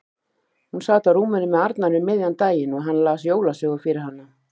Hún sat á rúminu með Arnari um miðjan daginn og hann las jólasögu fyrir hana.